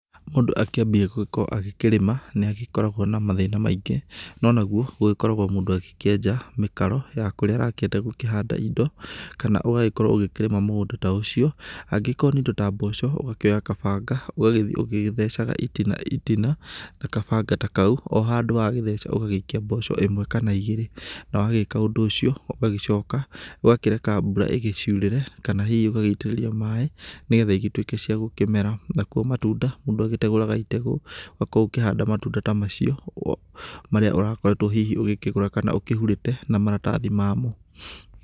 Mũndũ agĩkĩambia gũkorwo kũrĩma nĩakoragwa na mathĩma maingĩ, nonaguo mũndũ agĩkoragwo agĩkenja mĩkaro ya kũria arakĩenda kũhanda indo kana ũgagĩkorwo ũgĩkrima mũgũnda ũcio, angĩkorwo nĩ indo ta mboco ũgagĩkĩoya kabanga ũgagĩthii ũgĩthecaga itina itina na kabanga ta kau ,handũ ha kũgĩtheca ũgaikia mboco ĩmwe kana igĩrĩ , na wagĩka ũndũ ũcio, ũgagĩcoka ũgagĩkireka mbura igĩciũrĩre kana hihi ũgaitĩrĩria maĩ nĩgetha igĩtuĩke ciagũkĩmera, nakuo matunda mũndũ ategũrara itegũ ũgagĩkorwo ũkĩhanda matunda ta macio marĩa ũrakoretwe hihi ũkĩgũra kana hihi ũgĩkĩhurĩte na maratathi mamo.